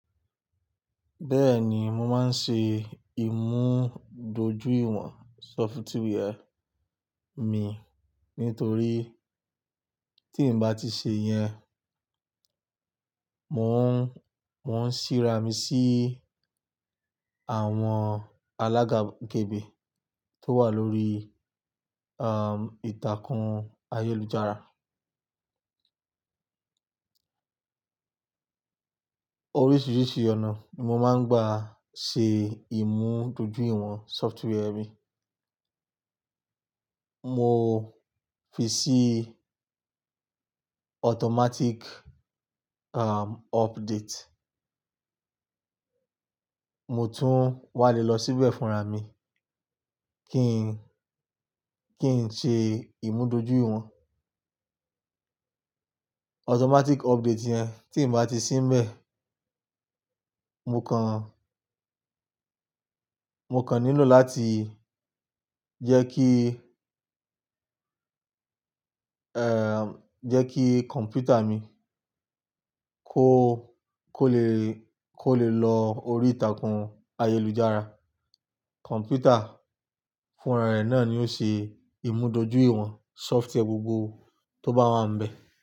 Bẹ́ẹ̀ni, mo máa ń ṣe ìmúdójúìwọ̀n sọfituweè mi, nítorí tí n bá ti ṣe yẹn, mò ń, mò ń síra mi sí àwọn alágàgégbé tó wà lórí, àm, ìtàkùn ayélujára. Oríṣiríṣi ọ̀nà ni mo máa ń gbà ṣe ìmúdójúìwọ̀n sọfituweè mi. Mo fi sí automatic, àm, update. Mo tún wà le lọ síbẹ̀ fúnra mi kí n, kí n ṣe ìmúdójúìwọ̀n. Automatic update yẹn tí n bá ti síbẹ̀, mo kàn, mo kàn ní lo láti jẹ́ kí, ẹ́, jẹ́ kí kọ̀mpútà mi kó, kó le, kó le lọ orí ìtàkùn ayélujára. Kọ̀mpútà fúnra rẹ̀ náà ni ó ṣe ìmúdójúìwọ̀n sọfituweè gbogbo tó bá wà níbẹ̀